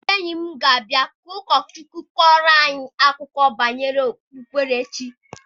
Ndị enyi m ga-abịa ka ụkọ Chukwu kọọrọ anyị akụkọ banyere okpukperechi.